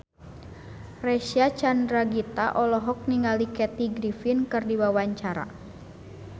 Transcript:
Reysa Chandragitta olohok ningali Kathy Griffin keur diwawancara